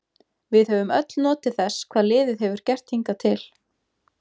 Við höfum öll notið þess hvað liðið hefur gert hingað til.